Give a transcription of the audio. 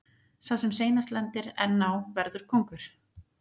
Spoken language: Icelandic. Sá sem seinast lendir enn á verður kóngur.